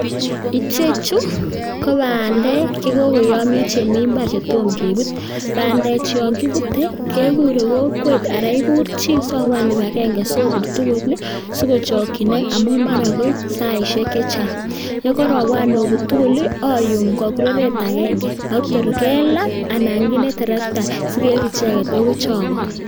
Icheju ko bandek che kogoyomyo, che mi mbar che tomkebut. Bandechu yon kibute kegure kokwet anan igur chi sobwan kibagenge sobut tugul ii sigochokinok amun mara koib saishek che chang. Ye karobwan obut tugul ii oyum en keberut agenge ak tor ke laa anan kinde terekta sikeib icheget agoi chogo.